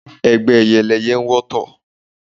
Ẹgbẹ́ ẹyẹ ni ẹyẹ ń wọ́tọ̀.